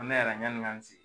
An bɛ ɲanni an k'an sigi.